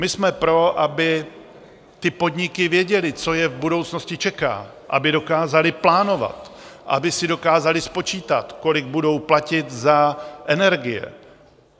My jsme pro, aby ty podniky věděly, co je v budoucnosti čeká, aby dokázaly plánovat, aby si dokázaly spočítat, kolik budou platit za energie.